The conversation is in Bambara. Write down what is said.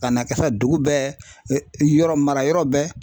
Ka na kɛ sa dugu bɛɛ yɔrɔ mara yɔrɔ bɛɛ.